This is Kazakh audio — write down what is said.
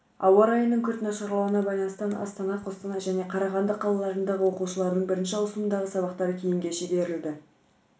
ауа райының күрт нашарлауына байланысты астана қостанай және қарағанды қалаларындағы оқушылардың бірінші ауысымындағы сабақтары кейінге шегерілді